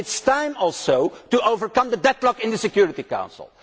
it. It is time also to overcome the deadlock in the Security Council.